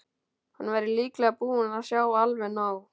Hann væri líklega búinn að sjá alveg nóg.